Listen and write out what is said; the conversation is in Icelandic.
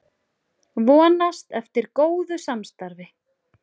Vonast eftir góðu samstarfi